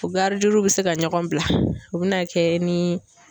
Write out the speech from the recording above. U garidiw be se ka ɲɔgɔn bila o bɛna kɛ ni